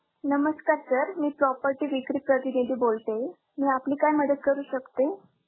नमस्कार sir. मी property विक्री प्रतिनिधी बोलते, मी आपली काय मदत करू शकते?